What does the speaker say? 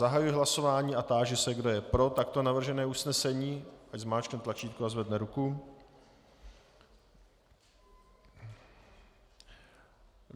Zahajuji hlasování a táži se, kdo je pro takto navržené usnesení, ať zmáčkne tlačítko a zvedne ruku.